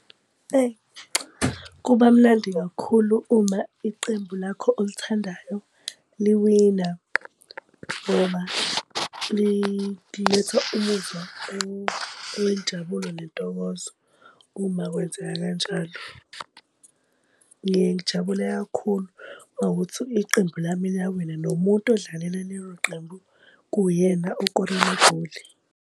Eyi cha, kuba mnandi kakhulu uma iqembu lakho olithandayo liwina noma liletha umuzwa owenjabulo nentokozo. Uma kwenzeka kanjalo ngiyeke ngijabule kakhulu uma kuwukuthi iqembu lami liyawina nomuntu odlalela lelo qembu kuyena okore amagoli.